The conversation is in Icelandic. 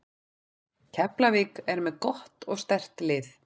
Keflavík er með gott og sterkt lið.